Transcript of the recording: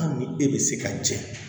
Hali ni e bɛ se ka jɛ